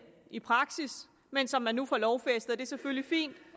i praksis men som man nu får lovfæstet er selvfølgelig fint